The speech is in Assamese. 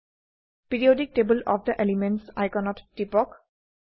periodic table of the elements আইকনত টিপক